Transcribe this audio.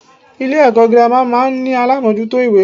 Ilé èkó girama máa n ní alámójútó ìwé